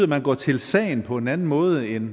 man går til sagen på en anden måde end